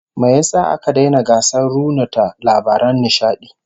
Me yasa aka daina gasar runuta labaran nishadi?